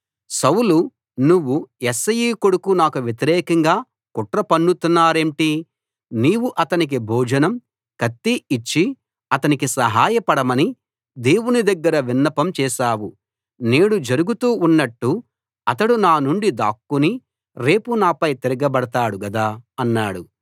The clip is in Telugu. సౌలు నువ్వు యెష్షయి కొడుకు నాకు వ్యతిరేకంగా కుట్ర పన్నుతున్నారేంటి నీవు అతనికి భోజనం కత్తి ఇచ్చి అతనికి సహాయ పడమని దేవుని దగ్గర విన్నపం చేసావు నేడు జరుగుతూ ఉన్నట్టు అతడు నానుండి దాక్కుని రేపు నాపై తిరగబడతాడు గదా అన్నాడు